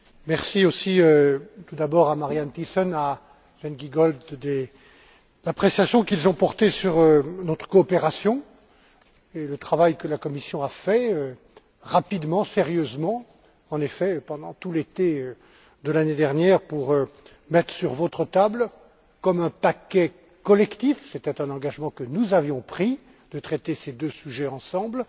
Merci, aussi, d'abord à Marianne Thyssen et à Sven Giegold, de l'appréciation qu'ils ont portée sur notre coopération et le travail que la Commission a fait, rapidement et sérieusement, en effet, pendant tout l'été de l'année dernière, pour mettre sur votre table, comme un paquet collectif c'était un engagement que nous avions pris de traiter ces deux sujets ensemble